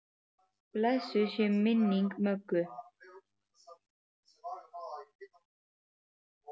Blessuð sé minning Möggu.